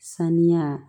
Saniya